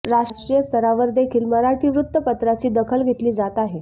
राष्ट्रीय स्तरावर देखील मराठी वृत्तपत्राची दखल घेतली जात आहे